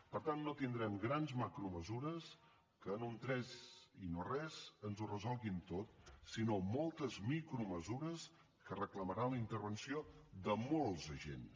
per tant no tindrem grans macromesures que en un tres i no res ens ho resolguin tot sinó moltes micromesures que reclamaran la intervenció de molts agents